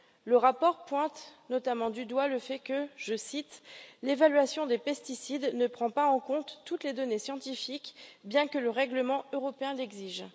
Le rapport pointe notamment du doigt le fait que, je cite L'évaluation des pesticides ne prend pas en compte toutes les données scientifiques, bien que le règlement européen l'exige.